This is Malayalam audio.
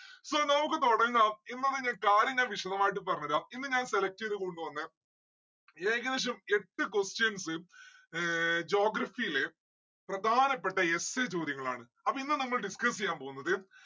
so നമ്മുക്ക് തൊടങ്ങാം എന്താണ് ഇന്ന് കാര്യം ഞാൻ വിശതമായിട്ട് പറഞ്ഞെരാം. ഇന്ന് ഞാൻ select എയ്തത് കൊണ്ടുവന്നെ ഏകദേശം എട്ട് questions ഏർ geography ല് പ്രധാനപ്പെട്ട essay ചോദ്യങ്ങളാണ് അപ്പൊ ഇന്ന് നമ്മൾ discuss എയ്യാൻ പോന്നത്